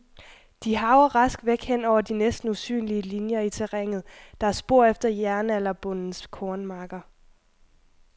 De harver rask væk hen over de næsten usynlige linier i terrænet, der er spor efter jernalderbondens kornmarker.